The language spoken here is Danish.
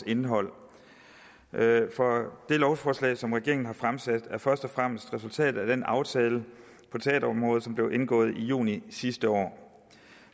indhold det lovforslag som regeringen har fremsat er først og fremmest resultatet af den aftale på teaterområdet som blev indgået i juni sidste år